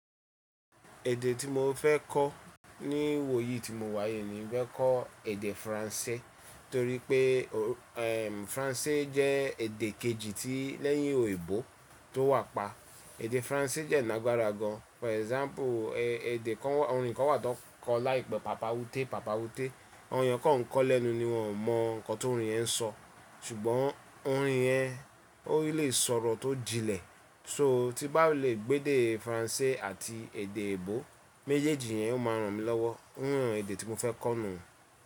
Èdè tí mo fẹ́ kọ́ ní wò yí tí mo wà yìí ni ì fẹ́ kọ́ èdè Faransé torí pé ẹ̀m Faransé jẹ́ èdè kejì tí lẹ́yìn òyìnbó tó wà pa. Èdè Faransé dẹ́ nágbára gan, for example èdè kan orin kan wà tó ń kọ láìpẹ́ papa wuté papa wuté. Àwon èèyàn kan nkọọ́ lẹ́nu ni wọn ò mọ nǹkan t'orin yẹn ń sọ. Ṣùgbọ́n orin yẹn ó lè sọ̀rọ̀ tó jinlẹ̀. So tí n bá lè gbọ́ èdè Faransé àti èdè òyìnbó méjèèjì yẹn ó máa ràn mí lọ́wọ́. Ó ràn èdè tí mo fẹ́ kọ́ nù.